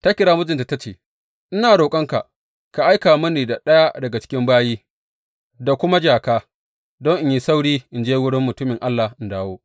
Ta kira mijinta ta ce, Ina roƙonka ka aika mini da ɗaya daga cikin bayi da kuma jaka, don in yi sauri in je wurin mutumin Allah in dawo.